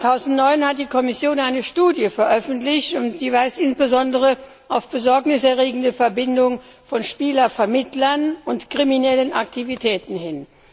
Im Jahr 2009 hat die Kommission eine Studie veröffentlicht, und die weist insbesondere auf Besorgnis erregende Verbindungen von Spielervermittlern und kriminelle Aktivitäten hin.